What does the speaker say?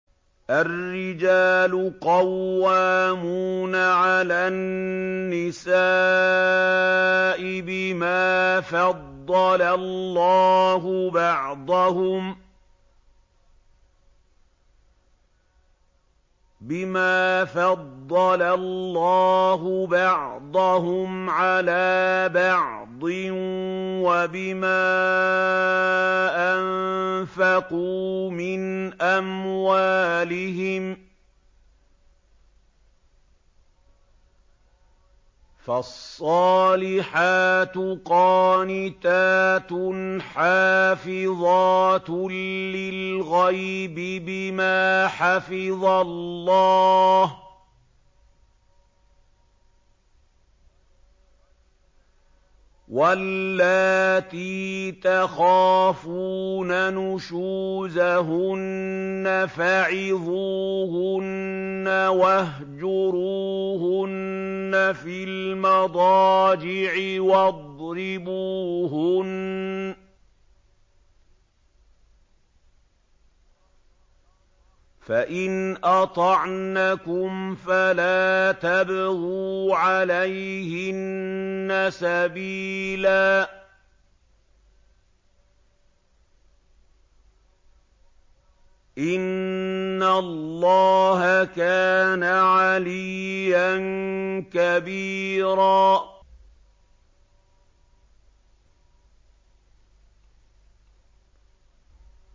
الرِّجَالُ قَوَّامُونَ عَلَى النِّسَاءِ بِمَا فَضَّلَ اللَّهُ بَعْضَهُمْ عَلَىٰ بَعْضٍ وَبِمَا أَنفَقُوا مِنْ أَمْوَالِهِمْ ۚ فَالصَّالِحَاتُ قَانِتَاتٌ حَافِظَاتٌ لِّلْغَيْبِ بِمَا حَفِظَ اللَّهُ ۚ وَاللَّاتِي تَخَافُونَ نُشُوزَهُنَّ فَعِظُوهُنَّ وَاهْجُرُوهُنَّ فِي الْمَضَاجِعِ وَاضْرِبُوهُنَّ ۖ فَإِنْ أَطَعْنَكُمْ فَلَا تَبْغُوا عَلَيْهِنَّ سَبِيلًا ۗ إِنَّ اللَّهَ كَانَ عَلِيًّا كَبِيرًا